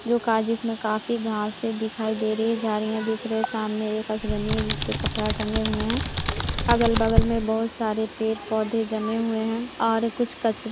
जो काज जिसमें काफी घांसे दिखाई दे रही हैं झाड़ दिख रहे हैं सामने एक बना हुआ है जिसमे कपड़ा टांगा हुआ है अगल बगल मे बहुत सारे पेड़ पौधे जमे हुए हैं और कुछ कचरे भी--